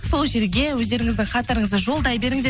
сол жерге өздеріңіздің хаттарыңызды жолдай беріңіздер